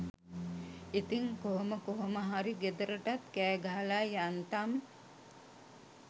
ඉතිං කොහොම කොහොම හරි ගෙදරටත් කෑ ගහලා යන්තම්